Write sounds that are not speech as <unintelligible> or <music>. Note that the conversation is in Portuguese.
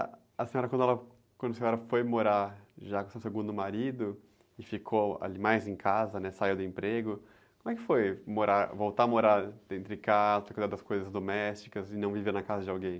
Ah, a senhora, quando, <unintelligible> quando a senhora foi morar já com seu segundo marido e ficou, ali, mais em casa, né? Saiu do emprego, como é que foi morar, voltar a morar dentro de casa, ter que cuidar das coisas domésticas e não viver na casa de alguém?